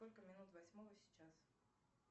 сколько минут восьмого сейчас